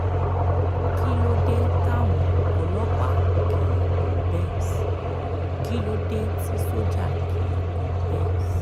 kí ló dé táwọn ọlọ́pàá kì í gun benz kí ló dé tí sójà kì í gun benz